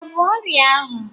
Ika bu ọrịa ahụ?